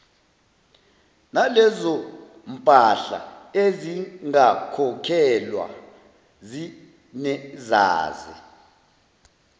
nalezompahla ezingakhokhelwa zinezaze